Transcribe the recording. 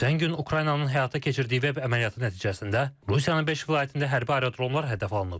Ötən gün Ukraynanın həyata keçirdiyi veb əməliyyatı nəticəsində Rusiyanın beş vilayətində hərbi aerodromlar hədəfə alınıb.